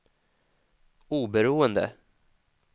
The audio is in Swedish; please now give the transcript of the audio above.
oberoende